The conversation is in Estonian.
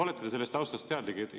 Olete te sellest taustast teadlik?